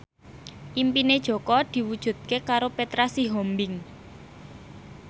impine Jaka diwujudke karo Petra Sihombing